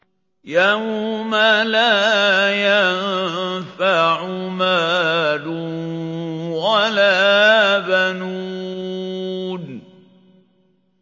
يَوْمَ لَا يَنفَعُ مَالٌ وَلَا بَنُونَ